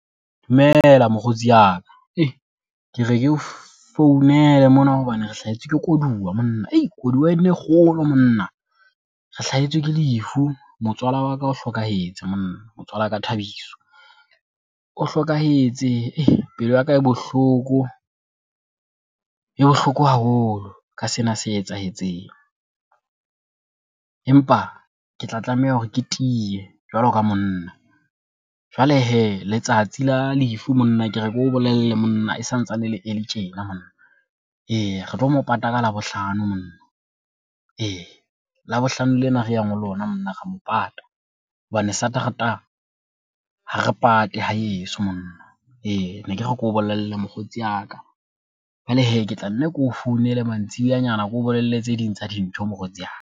Dumela mokgotsi ya ka. Ke re ke o founele mona hobane re hlahetswe ke koduwa monna, hei koduwa ena e kgolo monna re hlahetswe ke lefu. Motswala wa ka o hlokahetse monna, motswala ka Thabiso o hlokahetse pelo ya ka e bohloko, e bohloko haholo ka sena se etsahetseng, empa ke tla tlameha hore ke tiye jwalo ka monna. Jwale hee letsatsi la lefu, monna ke re ke o bolelle monna e santsane e le early tjena monna, eya re tlo mo pata ka Labohlano monna ee. Labohlano lena re yang ho lona mona re mo pata ka hobane Satrata ha re pate haeso monna ee. Ne ke re keo bolelle mokgotsi ya ka, jwale hee ke tla nne ke o founele mantsibuyanyana ke o bolelle tse ding tsa dintho mokgotsi ya ka.